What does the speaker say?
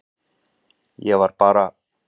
Ég var bara.